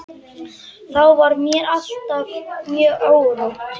Þá var mér alltaf mjög órótt.